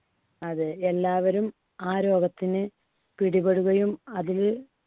അതേ എല്ലാവരും ആ രോഗത്തിന് പിടിപെടുകയും അതില്